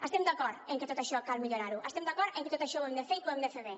estem d’acord en que tot això cal millorar ho estem d’acord en que tot això ho hem de fer i que ho hem de fer bé